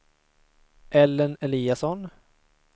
Ellen Eliasson